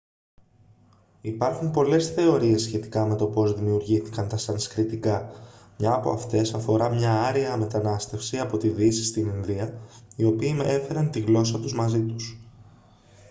υπάρχουν πολλές θεωρίες σχετικά με το πώς δημιουργήθηκαν τα σανσκριτικά μια από αυτές αφορά μια άρια μετανάστευση από τη δύση στην ινδία οι οποίοι έφεραν τη γλώσσα τους μαζί τους